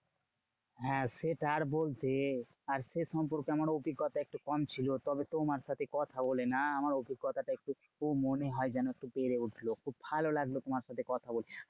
হ্যাঁ সেটা আর বলতে? আর সে সম্পর্কে আমার অভিজ্ঞতা একটু কম ছিল। তবে তোমার সাথে কথা বলে না? আমার অভিজ্ঞতাটা একটু মনে হয় যেন একটু বেড়ে উঠলো। খুব ভালো লাগলো তোমার সাথে কথা বলে।